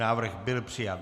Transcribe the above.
Návrh byl přijat.